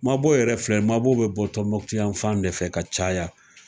Mabɔ yɛrɛ filɛ mabɔ bɛ bɔ Tɔmɔmukutuya fan e fɛ ka caya